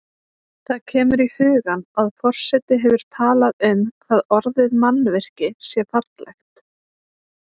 Það kemur í hugann að forseti hefur talað um hvað orðið mannvirki sé fallegt.